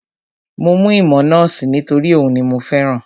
Mo mú ìmọ̀ nọ́ọ̀sì nítorí òhun ni mo fẹ́ràn